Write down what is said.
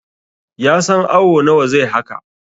ya san awo nawa zai haka!